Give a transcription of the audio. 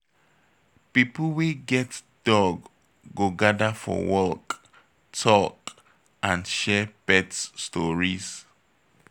People wey get dog go gather for walk, talk and share pet stories.